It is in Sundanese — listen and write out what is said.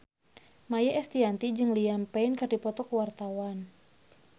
Maia Estianty jeung Liam Payne keur dipoto ku wartawan